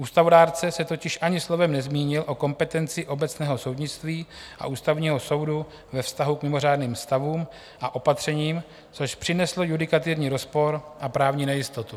Ústavodárce se totiž ani slovem nezmínil o kompetenci obecného soudnictví a Ústavního soudu ve vztahu k mimořádným stavům a opatřením, což přineslo judikaturní rozpor a právní nejistotu.